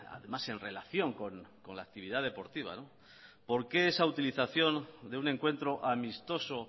además en relación con la actividad deportiva por qué esta utilización de un encuentro amistoso